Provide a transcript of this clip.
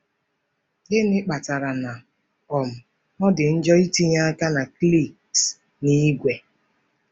Gịnị kpatara na um ọ dị njọ itinye aka na cliques n'ìgwè?